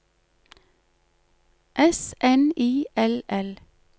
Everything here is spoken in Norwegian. S N I L L